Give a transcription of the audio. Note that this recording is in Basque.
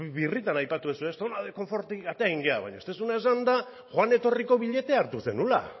birritan aipatu duzue zona de konfortetik atera egin gara baina ez duzuna esan da joan etorriko billetea hartu ez zenuela